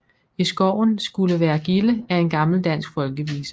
I skoven skulle være gilde er en gammel dansk folkevise